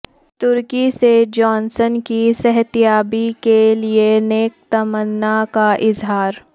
ترکی سے جانسن کی صحتیابی کے لیے نیک تمنا کا اظہار